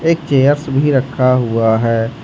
एक चेयर्स भी रखा हुआ है।